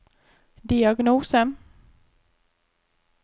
diagnose